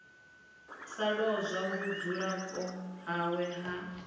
sa lozwa vhudzulapo hawe ha